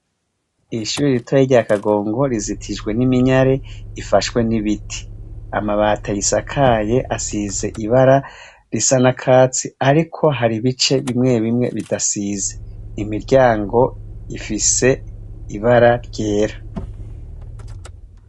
Irishuri ritoya rya kagongo rizitijwe n'iminyare ifashwe n'ibiti amabati asakaye asize ibara risa na katsi, ariko hari ibice bimwe bimwe bidasize imiryango ifise ibara ryera.